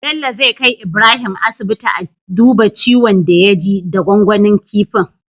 Bello zai kai Ibrahim asibiti a duba ciwon da ya ji da gwangwanin kifin